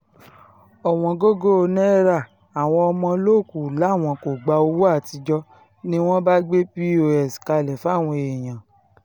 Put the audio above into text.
òwòǹgògò náírààwọ́n ọmọlọ́ọ̀kù làwọn kò gba owó àtijọ́ ni wọ́n bá gbé pọ́s kalẹ̀ fáwọn èèyàn